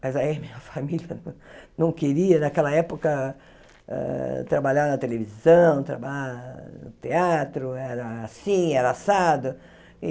Mas aí minha família não queria, naquela época, hã trabalhar na televisão, trabalhar no teatro, era assim, era assado.